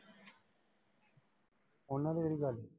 ਉਨ੍ਹਾਂ ਦੇ ਵੀ ਗਈ।